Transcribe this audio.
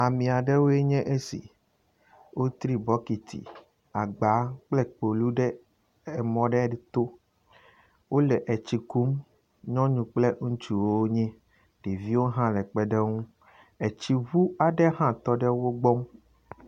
Ame aɖewoe nye esi. Wotri bɔkiti, agba kple kpolu ɖe emɔ aɖe to. Wo le tsi kum nyɔnu kple ŋutsu wonye. Ɖeviwo hã le kpeɖe wo ŋu. eti ŋu aɖe hã tɔɖe wo gbɔ.